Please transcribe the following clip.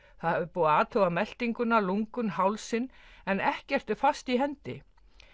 búið að athuga meltinguna lungun hálsinn en ekkert er fast í hendi